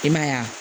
I m'a ye wa